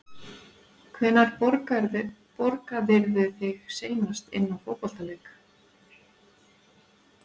Hvenær borgaðirðu þig seinast inná fótboltaleik?